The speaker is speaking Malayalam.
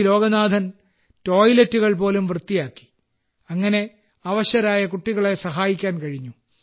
ലോഗനാഥൻ ടോയ്ലറ്റുകൾ പോലും വൃത്തിയാക്കി അങ്ങനെ അവശരായ കുട്ടികളെ സഹായിക്കാൻ കഴിഞ്ഞു